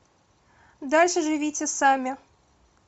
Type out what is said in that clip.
дальше живите сами